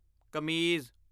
ਕਮੀਜ਼